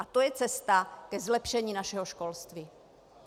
A to je cesta ke zlepšení našeho školství.